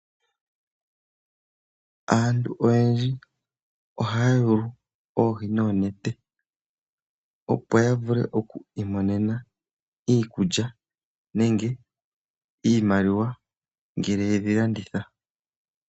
Aantu oyendji ohaya yulu oohi noonete opo ya vule oku imonena iikulya nenge iimaliwa ngele yedhi landitha.